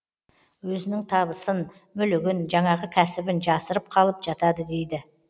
өзінің табысын мүлігін жаңағы кәсібін жасырып қалып жатады дейді